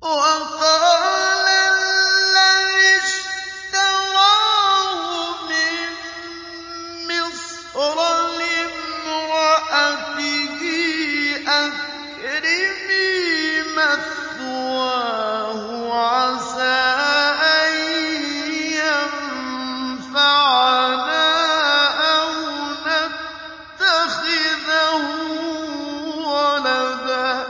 وَقَالَ الَّذِي اشْتَرَاهُ مِن مِّصْرَ لِامْرَأَتِهِ أَكْرِمِي مَثْوَاهُ عَسَىٰ أَن يَنفَعَنَا أَوْ نَتَّخِذَهُ وَلَدًا ۚ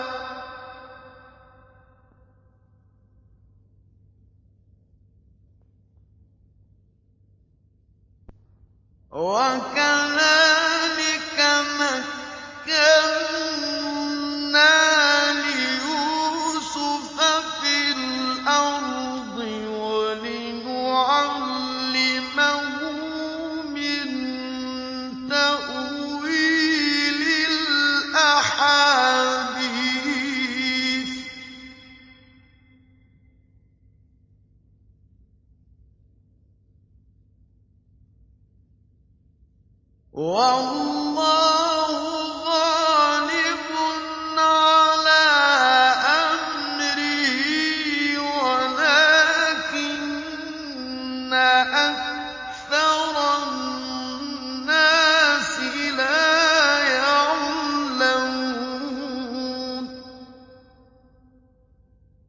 وَكَذَٰلِكَ مَكَّنَّا لِيُوسُفَ فِي الْأَرْضِ وَلِنُعَلِّمَهُ مِن تَأْوِيلِ الْأَحَادِيثِ ۚ وَاللَّهُ غَالِبٌ عَلَىٰ أَمْرِهِ وَلَٰكِنَّ أَكْثَرَ النَّاسِ لَا يَعْلَمُونَ